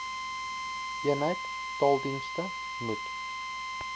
eenheid taaldienste moet